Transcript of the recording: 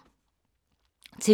TV 2